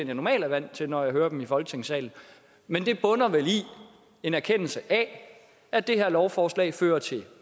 jeg normalt er vant til når jeg hører dem i folketingssalen men det bunder vel i en erkendelse af at det her lovforslag fører til